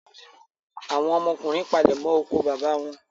Àwọn ọmọkùnrin palẹ̀mọ́ oko bàbá wọn.